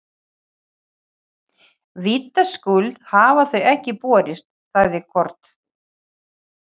Baddi, hvað er í matinn á þriðjudaginn?